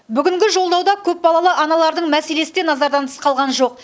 бүгінгі жолдауда көпбалалы аналардың мәселесі де назардан тыс қалған жоқ